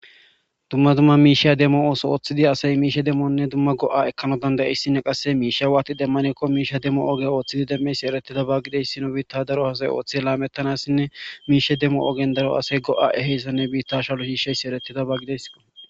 Dumma dumma miisheya demmo ooso ooththidi asay miishe demmonne dumma go7a ekkano dandayeissinne qasse miishe waati demmanekko miisha demmo ooge ooththidi demmes eretida baggideys sino biitta daro hasay ooththi laamettanassinne miishe demmo ogen daro asay go7a eheyssanne biitta shalo hiishaysi eretida baggides.